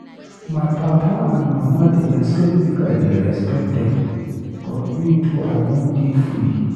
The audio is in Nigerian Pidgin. My papa and mama dey expect make I dey respect dem, but me too I wan dey free.